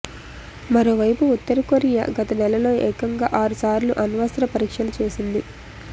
మరోవైపు ఉత్తరకొరియా గత నెలలో ఏకంగా ఆరు సార్లు అణ్వస్త్ర పరీక్షలు చేసింది